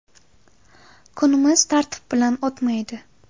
Kunimiz tartib bilan o‘tmaydi.